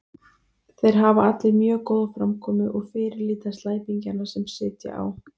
Þeir hafa allir mjög góða framkomu og fyrirlíta slæpingjana sem sitja á